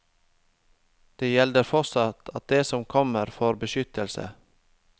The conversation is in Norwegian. Det gjelder fortsatt at de som kommer får beskyttelse.